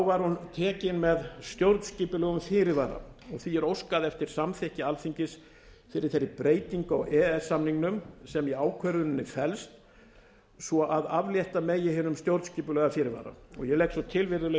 var hún tekin með stjórnskipulegum fyrirvara og því var óskað eftir samþykki alþingis fyrir þeirri breytingu á e e s samningnum sem í ákvörðuninni felst svo að aflétta megi hinn stjórnskipulega fyrirvara ég legg svo til virðulegi